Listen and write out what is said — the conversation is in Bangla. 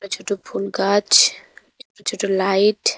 ছোটো ফুল গাছ একটি ছোটো লাইট --